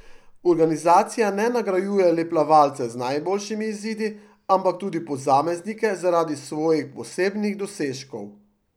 Organizacija ne nagrajuje le plavalcev z najboljšimi izidi, ampak tudi posameznike zaradi svojih posebnih dosežkov.